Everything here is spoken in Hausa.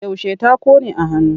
Yaushe ta ƙone a hannu?